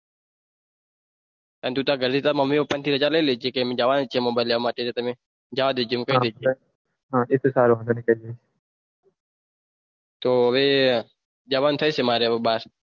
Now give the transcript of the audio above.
અને તું તાર ઘરે થી તાર મમ્મી પપ્પા ની રાજા લઈ લેજે જવાનું છે mobile લેવા માટે જવા દેજો એ તો કઈ વાંઘો ની તો હવે જવાન થશે હવે બાર